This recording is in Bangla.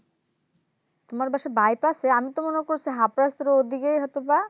তোমার বাসা Bypass এ আমি তো মনে করছি Hapras এর ওদিকেই হয়তো বা